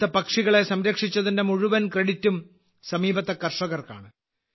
ഇവിടുത്തെ പക്ഷികളെ സംരക്ഷിച്ചതിന്റെ മുഴുവൻ ക്രെഡിറ്റും സമീപത്തെ കർഷകർക്കാണ്